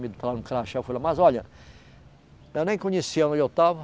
crachá, eu falei, mas olha, eu nem conhecia onde eu estava.